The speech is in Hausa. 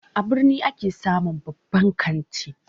A birni ake samun babban kanti